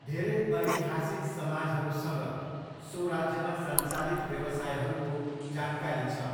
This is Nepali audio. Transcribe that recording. धेरै ऐतिहासिक समाजहरूसँग सो राज्यमा सञ्चालित व्यवसायहरूको जानकारी छ।